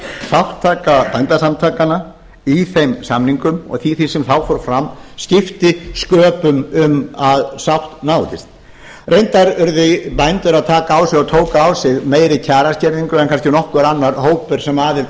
þátttaka bændasamtakanna í þeim samningum og í því sem þá fór fram skipti sköpum um að sátt náðist reyndar urðu bændur að taka á sig og tóku á sig meiri kjaraskerðingu en kannski nokkur annar hópur sem aðild átti